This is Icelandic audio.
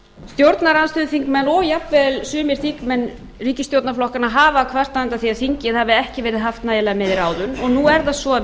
stjórnarandstöðuþingmenn og jafnvel sumir þingmenn ríkisstjórnarflokkanna hafa kvartað undan því að þingið hafi ekki verið haft nægilega með í ráðum og nú er það svo að